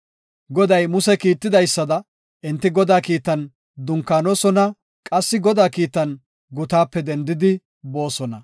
Goday Muse Kiittidaysada enti Godaa kiitan dunkaanosona qassi Godaa kiitan gutaape dendidi boosona.